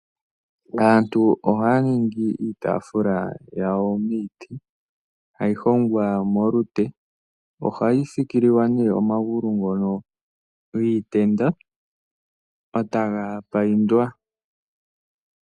Aantu ohaya ningi iitaafula yawo miiti, hayi hongwa molute. Ohayi fikililwa omagulu giitenda e ta ga paindwa.